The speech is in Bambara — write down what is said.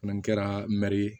Fana kɛra mɛri ye